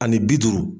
Ani bi duuru